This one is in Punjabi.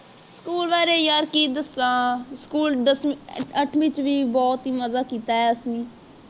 school ਬਾਰੇ ਯਾਰ ਕਿ ਦੱਸਾਂ school ਦਸਵੀ ਅੱਠਵੀ ਚ ਵੀ ਬਹੁਤ ਮਜ਼ਾ ਕੀਤਾ ਹੈ ਅੱਸੀ